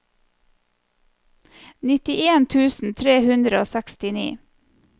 nittien tusen tre hundre og sekstini